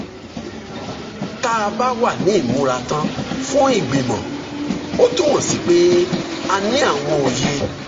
tá a bá wà ní ìmúratán fún ìgbìmọ̀ ó túmọ̀ sí pé a ní àwọn òye